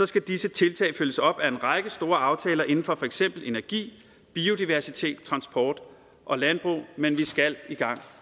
skal disse tiltag følges op af en række store aftaler inden for for eksempel energi biodiversitet transport og landbrug men vi skal i gang